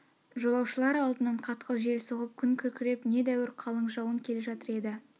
жолаушылар алдынан қатқыл жел соғып күн күркіреп не дәуір қалың жауын келе жатыр еді